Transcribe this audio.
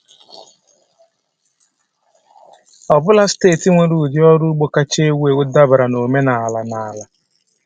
Ọ bụla steeti nwere ụdị ọrụ ugbo kacha ewu ewu dabere na omenala na ala.